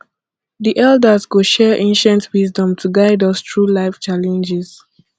the elders go share ancient wisdom to guide us through life challenges